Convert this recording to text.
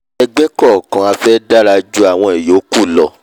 ẹgbẹ́ kọ̀ọ̀kan a fẹ́ dárà jú àwọn ìyókù lọ